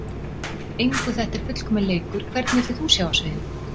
engu þetta er fullkominn leikur Hvern vildir þú sjá á sviði?